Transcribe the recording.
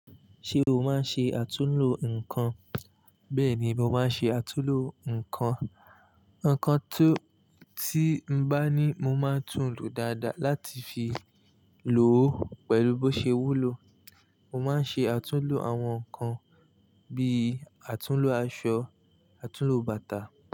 Ṣé o máa ń ṣe àtúnlo nǹkan? Bẹ́ẹ̀ni, mo máa ń ṣe àtúnlo nǹkan. Ǹkan tí n bá ní mo máa tún lo dáadáa láti fi lo pẹ̀lú bó ṣe wúlò. Mo máa ń ṣe àtúnlo àwọn nǹkan bí àtúnlo aṣọ, àtúnlo bàtà.